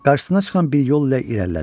Qarşısına çıxan bir yol ilə irəlilədi.